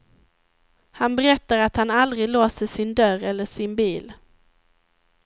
Han berättar att han aldrig låser sin dörr eller sin bil.